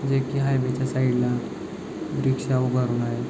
जे की आहे त्याच्या साइड ला रिक्षा उभारून आहे.